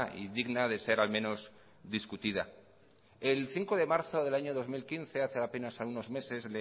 y digna de ser al menos discutida el cinco de marzo del año dos mil quince hace apenas unos meses